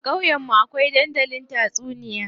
A ƙauyen mu akwai dandalin tatsuniya.